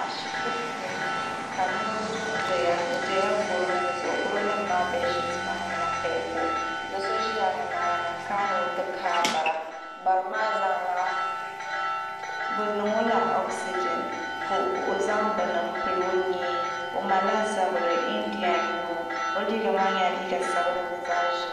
ashibiti puuni ka niraba dondoya bi dola gɛro nim zuɣu gɛro nim maa bɛd shiit maa nyɛla peepul so ʒila nimaani n kana ni o ti kaai bara bari maa bi niŋɔ la ogisijin ka o zaŋ bini n pili o nyee o malila zabiri indiyɛn n nyɛ o o liiga maa nyɛla liiga sabinli mini zaɣ ʒiɛ